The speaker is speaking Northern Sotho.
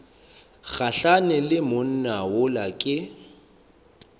gahlane le monna yola ke